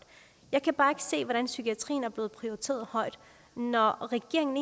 jeg kan bare se hvordan psykiatrien er blevet prioriteret højt når regeringen